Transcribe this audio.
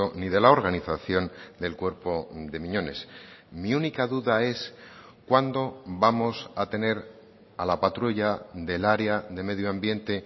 ni de la organización del cuerpo de miñones mi única duda es cuándo vamos a tener a la patrulla del área de medio ambiente